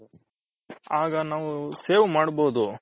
ಆಗ ನಾವು save ಮಡ್ಬೌದು